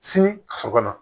Sini ka so kɔnɔ